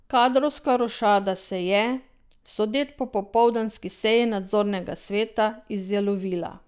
Kadrovska rošada se je, sodeč po popoldanski seji nadzornega sveta, izjalovila.